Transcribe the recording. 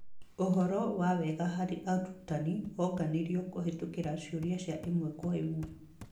ũhoro wa wega hari arutani wonganirio kũhetũkĩra ciũria cia ĩmwe kwa ĩmwe.